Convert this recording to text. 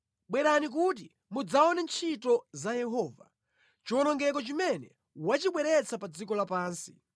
Bwerani kuti mudzaone ntchito za Yehova, chiwonongeko chimene wachibweretsa pa dziko lapansi.